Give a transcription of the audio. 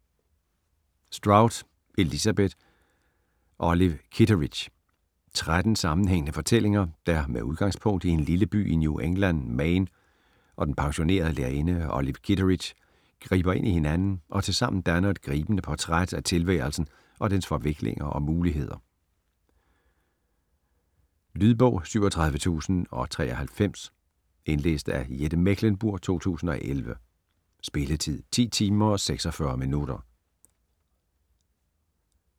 Strout, Elizabeth: Olive Kitteridge 13 sammenhængende fortællinger der, med udgangspunkt i en lille by i New England, Maine, og den pensionerede lærerinde Olive Kitteridge, griber ind i hinanden og tilsammen danner et gribende portræt af tilværelsen og dens forviklinger og muligheder. Lydbog 37093 Indlæst af Jette Mechlenburg, 2011. Spilletid: 10 timer, 46 minutter.